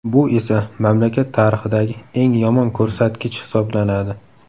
Bu esa mamlakat tarixidagi eng yomon ko‘rsatgich hisoblanadi.